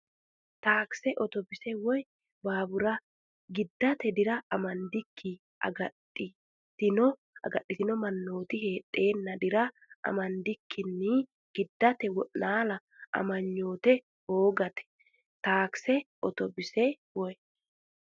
Taakise, otobbise, woy baabura giddate dira amadde agadhitino man- nooti heedheenna dira amandikkinni giddate wo’naala amanyootu hoongeeti Taakise, otobbise, woy.